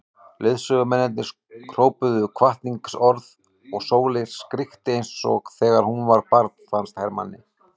Leiðsögumennirnir hrópuðu hvatningarorð og Sóley skríkti eins og þegar hún var barn fannst Hermanni.